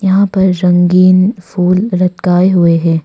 यहां पर रंगीन फुल लटकाए हुए हैं।